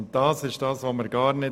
Und das wollen wir nicht!